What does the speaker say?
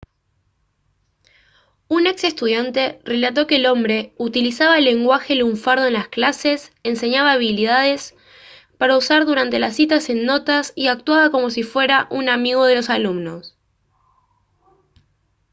un ex estudiante relató que el hombre «utilizaba lenguaje lunfardo en las clases enseñaba habilidades para usar durante las citas en notas y actuaba como si fuera un amigo de los alumnos»